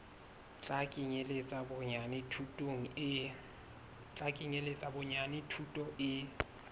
tla kenyeletsa bonyane thuto e